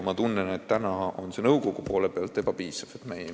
Ma tunnen, et praegu ei ole seda nõukogu poole peal piisavalt.